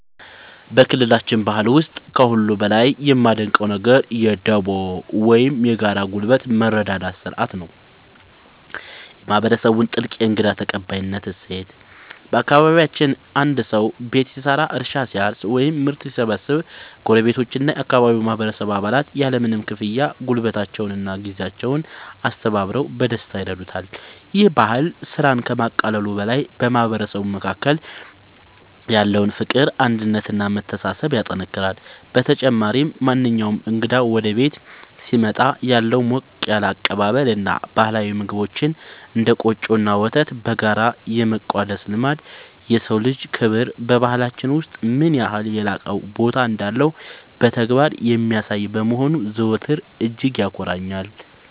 በክልላችን ባህል ውስጥ ከሁሉ በላይ የማደንቀው ነገር የ"ዱቦ" (Dubo) ወይም የጋራ ጉልበት መረዳዳት ሥርዓት እና የማህበረሰቡን ጥልቅ የእንግዳ ተቀባይነት እሴት ነው። በአካባቢያችን አንድ ሰው ቤት ሲሰራ፣ እርሻ ሲያርስ ወይም ምርት ሲሰበስብ ጎረቤቶችና የአካባቢው ማህበረሰብ አባላት ያለምንም ክፍያ ጉልበታቸውንና ጊዜያቸውን አስተባብረው በደስታ ይረዱታል። ይህ ባህል ስራን ከማቃለሉ በላይ በማህበረሰቡ መካከል ያለውን ፍቅር፣ አንድነት እና መተሳሰብ ያጠናክራል። በተጨማሪም፣ ማንኛውም እንግዳ ወደ ቤት ሲመጣ ያለው ሞቅ ያለ አቀባበል እና ባህላዊ ምግቦችን (እንደ ቆጮ እና ወተት) በጋራ የመቋደስ ልማድ፣ የሰው ልጅ ክብር በባህላችን ውስጥ ምን ያህል የላቀ ቦታ እንዳለው በተግባር የሚያሳይ በመሆኑ ዘወትር እጅግ ያኮራኛል።